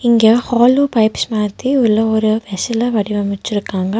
இங்க hollow pipes மாதிரி உள்ள ஒரு வெசல வடிவமச்சிருக்காங்க.